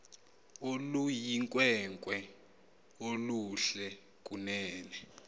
oluyinkwenkwe oluhle kunene